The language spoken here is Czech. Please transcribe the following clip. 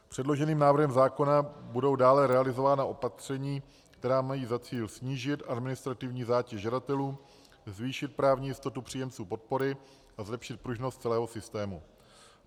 Předloženým návrhem zákona budou dále realizována opatření, která mají za cíl snížit administrativní zátěž žadatelů, zvýšit právní jistotu příjemců podpory a zlepšit pružnost celého systému.